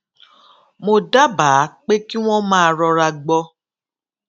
mo dábàá pé kí wón máa rora gbọ